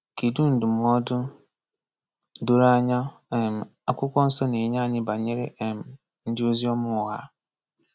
Kedụ ndụmọdụ doro anya um Akwụkwọ Nsọ na-enye anyị banyere um ndị oziọma ụgha?